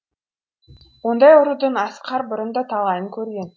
ондай ұрудың асқар бұрын да талайын көрген